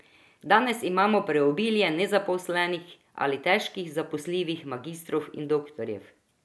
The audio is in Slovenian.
Danes imamo preobilje nezaposlenih ali težko zaposljivih magistrov in doktorjev.